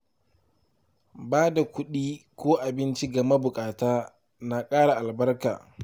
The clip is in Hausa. Ba da kuɗi ko abinci ga mabukata na ƙara albarka.